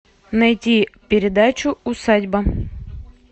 найти передачу усадьба